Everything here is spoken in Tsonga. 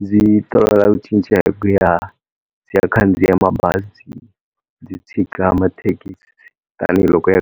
ndzi tolovela ku cinca hi ku ya ndzi ya khandziya mabazi ndzi tshika mathekisi tanihiloko ya .